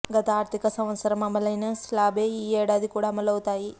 గత ఆర్థిక సంవత్సరం అమలైన స్లాబ్లే ఈ ఏడాది కూడా అమలవుతాయి